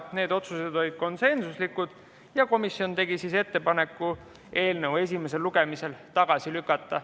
Need otsused olid konsensuslikud ja komisjon tegi ettepaneku eelnõu esimesel lugemisel tagasi lükata.